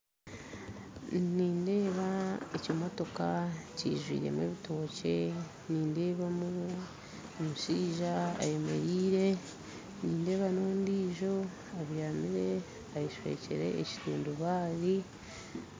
Nindeeba ekimotoka kijwiremu ebitookye, nindebamu omushaija ayemeriire, nindeeba n'ondiijo abyamire ayeshwekire ekitundubare